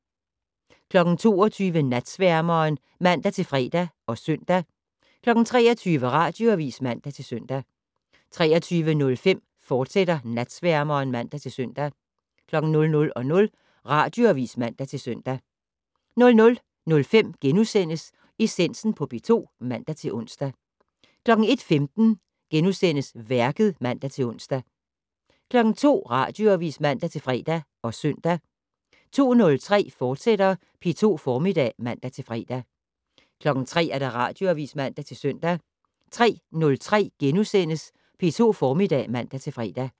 22:00: Natsværmeren (man-fre og søn) 23:00: Radioavis (man-søn) 23:05: Natsværmeren, fortsat (man-søn) 00:00: Radioavis (man-søn) 00:05: Essensen på P2 *(man-ons) 01:15: Værket *(man-ons) 02:00: Radioavis (man-fre og søn) 02:03: P2 Formiddag *(man-fre) 03:00: Radioavis (man-søn) 03:03: P2 Formiddag *(man-fre)